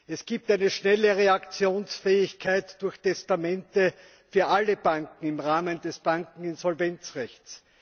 Es gibt eine schnelle Reaktionsfähigkeit durch Testamente für alle Banken im Rahmen des Bankeninsolvenzrechts.